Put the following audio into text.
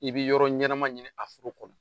I bɛ yɔrɔ ɲɛnama ɲini a foro kɔnɔ